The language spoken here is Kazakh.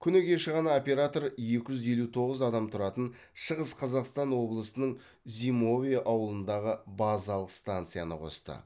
күні кеше ғана оператор екі жүз елу тоғыз адам тұратын шығыс қазақстан облысының зимовье ауылындағы базалық станцияны қосты